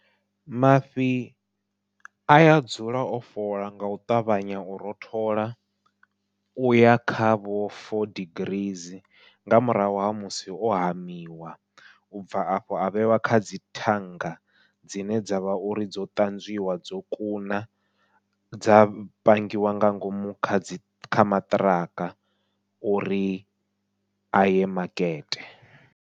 Mafhi aya dzula o fhola ngau ṱavhanya u rothola uya kha vho four degrees nga murahu ha musi o hamiwa, ubva afho avheiwa kha dzi thanga dzine dzavha uri dzo ṱanzwiwa dzo kuna, dza pangiwa nga ngomu kha dzi kha maṱiraka uri aye makete.